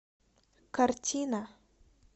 картина